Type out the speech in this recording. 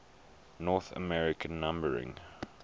north american numbering